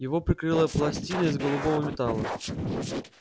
его прикрыла пластина из голубого металла